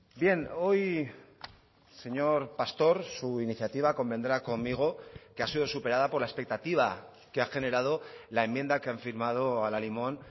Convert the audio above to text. bien hoy señor pastor su iniciativa convendrá conmigo que ha sido superada por la expectativa que ha generado la enmienda que han firmado al alimón